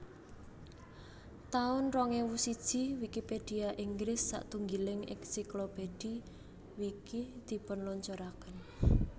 taun rong ewu siji Wikipedia Inggris satunggiling ensiklopedhi Wiki dipunluncuraken